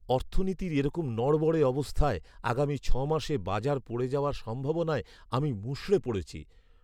অর্থনীতির এরকম নড়বড়ে অবস্থায় আগামী ছয় মাসে বাজার পড়ে যাওয়ার সম্ভাবনায় আমি মুষড়ে পড়েছি।